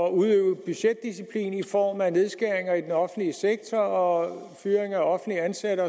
at udøve budgetdisciplin i form af nedskæringer i den offentlige sektor og fyring af offentligt ansatte